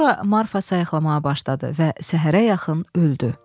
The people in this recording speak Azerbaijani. Sonra Marfa sayıqlamağa başladı və səhərə yaxın öldü.